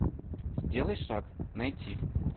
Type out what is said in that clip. сделай шаг найти